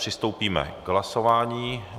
Přistoupíme k hlasování.